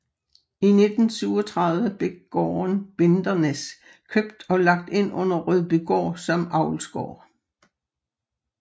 I 1937 blev gården Bindernæs købt og lagt ind under Rødbygård som avlsgård